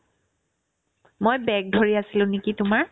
মই bag ধৰি আছিলো নেকি তোমাৰ ?